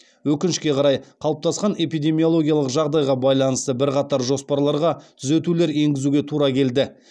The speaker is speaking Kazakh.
өкінішке қарай қалыптасқан эпидемиологиялық жағдайға байланысты бірқатар жоспарларға түзетулер еңгізуге тура келді